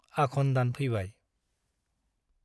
आघ'न दान फैबाय ।